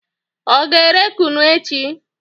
Ọ ga-ere kunu echi?